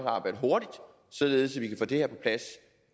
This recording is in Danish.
arbejde hurtigt således at vi kan få det her på plads